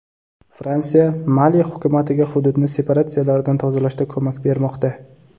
Fransiya Mali hukumatiga hududni separatistlardan tozalashda ko‘mak bermoqda.